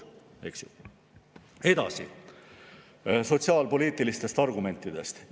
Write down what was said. Edasi, veel sotsiaalpoliitilistest argumentidest.